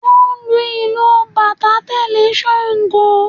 Wọ́n ń lu ìlù bàtá tẹ̀lé Ṣangó